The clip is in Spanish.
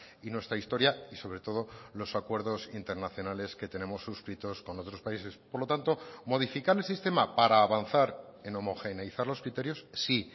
y nuestra historia y sobre todo los acuerdos internacionales que tenemos suscritos con otros países por lo tanto modificar el sistema para avanzar en homogeneizar los criterios sí